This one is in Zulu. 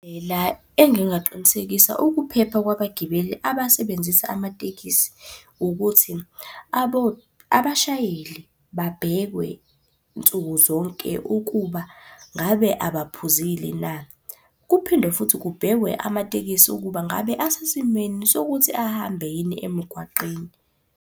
La engingaqinisekisa ukuphepha kwabagibeli abasebenzisa amatekisi, ukuthi abashayeli babhekwe nsuku zonke ukuba ngabe abaphuzile na. Kuphinde futhi kubhekwe amatekisi ukuba ngabe asesimweni sokuthi ahambe yini emgwaqeni.